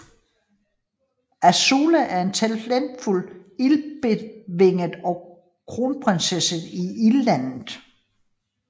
Azula er en talentfuld Ildbetvinger og kronprinsesse i Ildlandet